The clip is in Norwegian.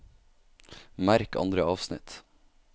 Merk andre avsnitt